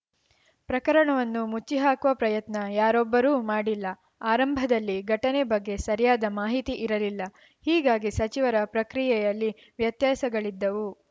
ಪ್ರಕರಣವನ್ನು ಮುಚ್ಚಿಹಾಕುವ ಪ್ರಯತ್ನ ಯಾರೊಬ್ಬರು ಮಾಡಿಲ್ಲ ಆರಂಭದಲ್ಲಿ ಘಟನೆ ಬಗ್ಗೆ ಸರಿಯಾದ ಮಾಹಿತಿ ಇರಲಿಲ್ಲ ಹೀಗಾಗಿ ಸಚಿವರ ಪ್ರಕ್ರಿಯೆಯಲ್ಲಿ ವ್ಯತ್ಯಾಸಗಳಿದ್ದವು